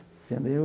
Entendeu?